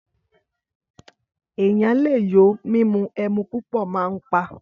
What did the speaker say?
Ẹyán lẹ yo Mímù ẹmú púpọ mà ń pà